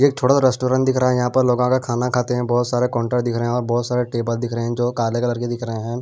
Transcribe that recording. ये थोड़ा सा रेस्टोरेंट रहा है यहां पर लोगों का खाना खाते हैं बहुत सारे काउंटर दिख रहे हैं और बहुत सारे टेबल दिख रहे हैं जो काले कलर के दिख रहे हैं।